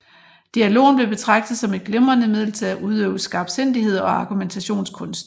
Dialogen blev betragtet som et glimrende middel til at udøve skarpsindighed og argumentationskunst